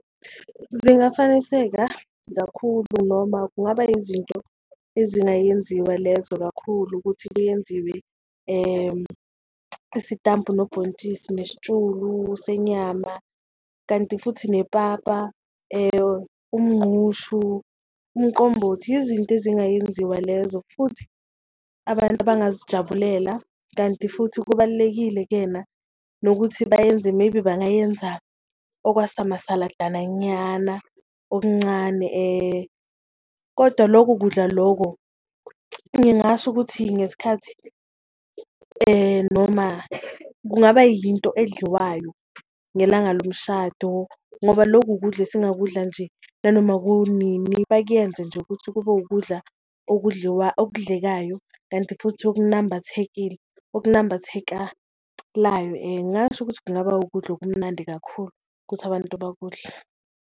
Zingafaniseka kakhulu noma kungaba yizinto ezingayenziwa lezo kakhulu ukuthi kuyenziwe isitambu nobhontshisi nesitshulu senyama, kanti futhi nepapa, umngqushu, umqombothi yizinto ezingayenziwa lezo futhi abantu abangazijabulela. Kanti futhi kubalulekile kena nokuthi bayenze maybe bangayenza okwasa masaladana nyana okuncane, kodwa loku kudla loko ngingasho ukuthi ngesikhathi noma kungaba yinto edliwayo ngelanga lomshado ngoba loku ukudla esingakudla nje nanoma kunini. Bakuyenze nje ukuthi kube ukudla okudlekayo kanti futhi okunambathekile okunambathekalayo, ngasho ukuthi kungaba ukudla okumnandi kakhulu ukuthi abantu bakudle.